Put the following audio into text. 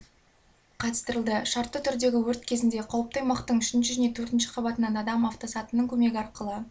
қатыстырылды шартты түрдегі өрт кезінде қауіпті аймақтың үшінші және төртінші қабатынан адам автосатының көмегі арқылы